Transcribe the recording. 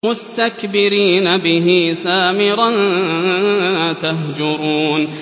مُسْتَكْبِرِينَ بِهِ سَامِرًا تَهْجُرُونَ